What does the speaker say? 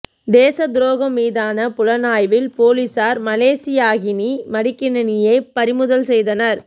தேசத் துரோகம் மீதான புலனாய்வில் போலீசார் மலேசியாகினி மடிக்கணினியை பறிமுதல் செய்தனர்